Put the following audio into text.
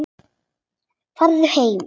Farðu heim!